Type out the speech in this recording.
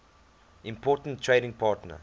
important trading partner